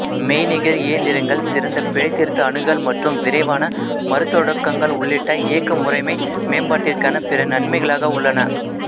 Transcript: மெய்நிகர் இயந்திரங்கள் சிறந்த பிழைதிருத்தி அணுகல் மற்றும் விரைவான மறுதொடக்கங்கள் உள்ளிட்ட இயக்க முறைமை மேம்பாட்டிற்கான பிற நன்மைகளாக உள்ளன